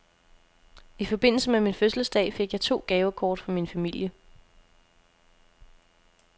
I forbindelse med min fødselsdag fik jeg to gavekort fra min familie.